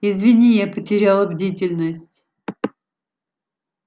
извини я потеряла бдительность